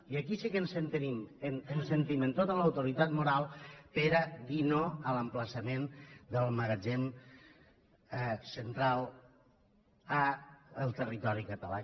i aquí sí que ens sentim amb tota l’autoritat moral per a dir no a l’emplaçament del magatzem central al territori català